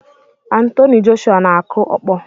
Anthony Joshua na-akụ ọkpọ